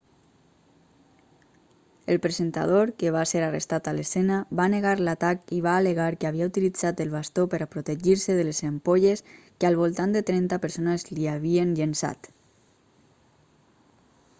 el presentador que va ser arrestat a l'escena va negar l'atac i va al·legar que havia utilitzat el bastó per a protegir-se de les ampolles que al voltant de trenta persones l'hi havien llençat